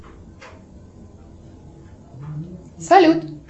салют